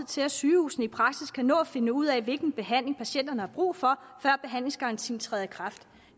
til at sygehusene i praksis kan nå at finde ud af hvilken behandling patienterne har brug for før behandlingsgarantien træder i kraft